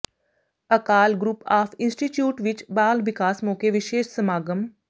Akal group of institute ਵਿਚ ਬਾਲ ਵਿਕਾਸ ਮੌਕੇ ਵਿਸ਼ੇਸ਼ ਸਮਾਗਮ